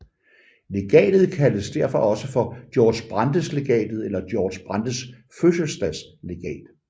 Legatet kaldes derfor også for Georg Brandes Legatet eller Georg Brandes Fødselsdagslegat